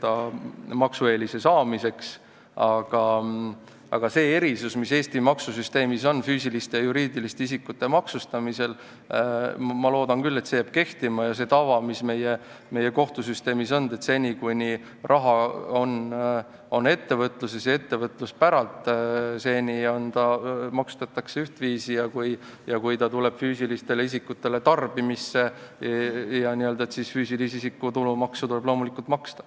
Aga ma loodan küll, et jääb kehtima see erisus, mis Eesti maksusüsteemis on füüsiliste ja juriidiliste isikute maksustamisel, samuti see tava, mis on meie kohtusüsteemis olnud, et seni, kuni raha on ettevõtluses ja ettevõtluse päralt, maksustatakse seda ühtviisi, aga kui ta tuleb füüsilistele isikutele tarbimisse, siis füüsilise isiku tulumaksu tuleb loomulikult maksta.